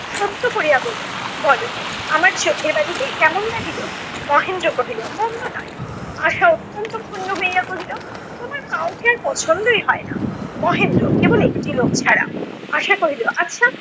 সত্য করিয়া বইল বল, আমার চোখের বালিকে কেমন লাগিল? মহেন্দ্র কহিল মন্দ নয়। আশা অত্যন্ত ক্ষুণ্ণ হইয়া কহিল তোমার কাউকেই আর পছন্দই হয় না। মহেন্দ্র- কেবল একটি লোক ছাড়া। আশা কহিল, আচ্ছা